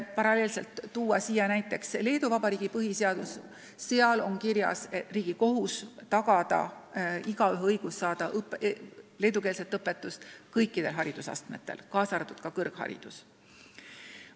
Kõrvale võib näiteks tuua Leedu Vabariigi põhiseaduse, kus on kirjas riigi kohustus tagada igaühe õigus saada leedukeelset õpetust kõikidel haridusastmetel, kaasa arvatud kõrgharidus.